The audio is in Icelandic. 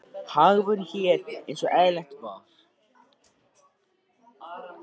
Hagvön hér eins og eðlilegt var.